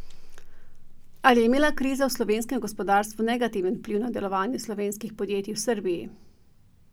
Ali je imela kriza v slovenskem gospodarstvu negativen vpliv na delovanje slovenskih podjetij v Srbiji?